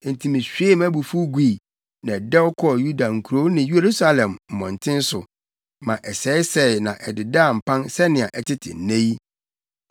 Enti mihwiee mʼabufuw gui, na ɛdɛw kɔɔ Yuda nkurow ne Yerusalem mmɔnten so ma ɛsɛesɛe na ɛdedaa mpan sɛnea ɛtete nnɛ yi.